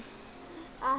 að